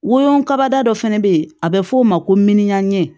Wolon kaba dɔ fɛnɛ bɛ ye a bɛ f'o ma ko minyan